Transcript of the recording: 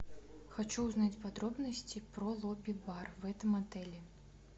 хочу узнать подробности про лобби бар в этом отеле